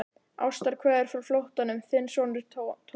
Ástarkveðjur frá flóttanum, þinn sonur Thomas.